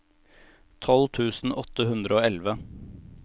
tolv tusen åtte hundre og elleve